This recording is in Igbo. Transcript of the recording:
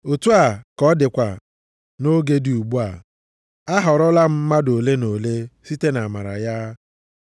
Otu a ka ọ dịkwa nʼoge dị ugbu a, a họrọla mmadụ ole na ole site nʼamara ya.